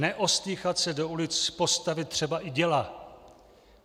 Neostýchat se do ulic postavit třeba i děla.